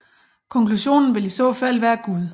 Konklusionen vil i så fald være Gud